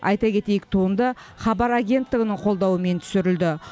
айта кетейік туынды хабар агенттігінің қолдауымен түсірілді